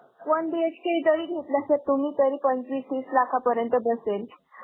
One BHK जरी घेतला sir, तुम्ही तरी पंचवीस तीस लाखापर्यंत बसेल.